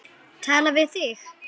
Tala við þig.